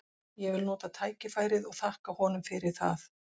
Ég vil nota tækifærið og þakka honum fyrir það.